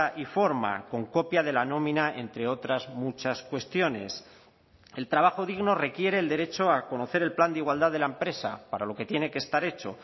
y forma con copia de la nómina entre otras muchas cuestiones el trabajo digno requiere el derecho a conocer el plan de igualdad de la empresa para lo que tiene que estar hecho